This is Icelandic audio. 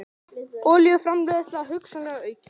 Olíuframleiðsla hugsanlega aukin